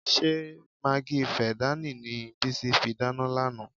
Ṣé magí fẹ̀dáànì ni Bísí fi dáná lánàá?